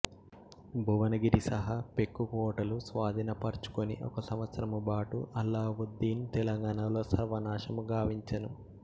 భువనగిరి సహా పెక్కు కోటలు స్వాధీనపర్చుకొని ఒక సంవత్సరముబాటు అల్లావుద్దీను తెలంగాణలో సర్వనాశనముగావించెను